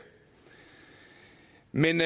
men